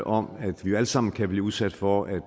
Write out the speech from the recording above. om at vi alle sammen kan blive udsat for